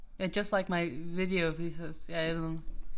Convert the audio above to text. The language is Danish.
Ja just like my video he says ja et eller andet